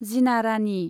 Jina Rani.